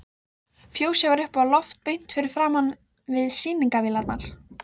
Fjósið var uppi á lofti beint framan við sýningarvélarnar.